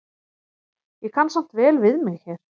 Ég kann samt vel við mig hér.